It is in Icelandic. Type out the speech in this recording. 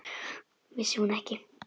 Vissi hún ekki!